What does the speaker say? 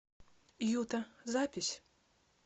юта запись